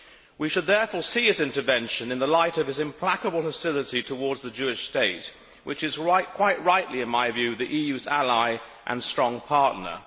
We should therefore see his intervention in the light of his implacable hostility towards the Jewish state, which is, quite rightly in my view, the EU's ally and strong partner.